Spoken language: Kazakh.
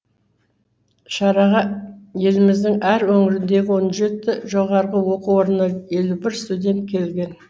шараға еліміздің әр өңіріндегі он жеті жоғарғы оқу орнынан елу бір студент келген